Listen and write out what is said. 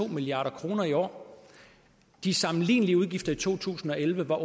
milliard kroner i år de sammenlignelige udgifter i to tusind og elleve var